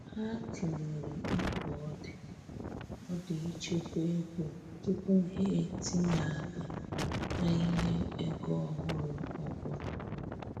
Ha tụlere mkpa ọ di ọ di ịchekwa ego tupu ha etinye-aka n'ihe ego ọhụrụ ọbụla.